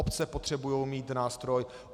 Obce potřebují mít nástroj.